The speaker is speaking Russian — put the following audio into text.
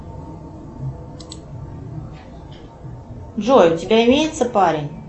джой у тебя имеется парень